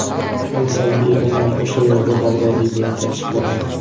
Al-Salbiy aynan o‘sha yerda Bag‘dodiy bilan tanishib qolgan.